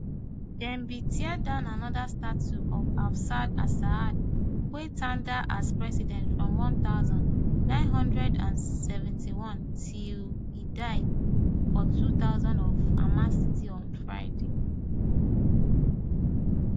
dem bin tear down anoda statue of hafez asassad wey tanda as president from one thousand, nine hundred and seventy-one till e die for two thousand for hama city on friday